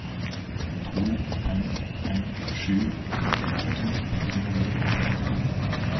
to fem fem sju trettiåtte fire hundre og femtifem